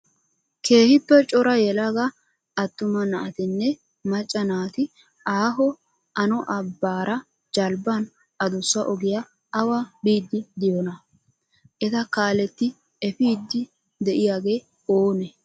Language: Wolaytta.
Keehippe cora yelaga attuma naatinne macca naati aaho ano abbaara jalbban adussa ogiyaa awa biiddi diyoona? Eta kaaletti epiiddi de''iyaage oonee?